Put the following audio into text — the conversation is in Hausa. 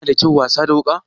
Yana da kyau wasa da wuka?